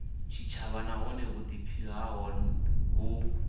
tshitshavha nahone vhuḓipfi havho vhu